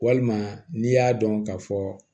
Walima n'i y'a dɔn ka fɔ